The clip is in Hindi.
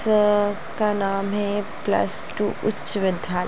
अ उसका नाम है प्लस टू उच्च विद्यालय।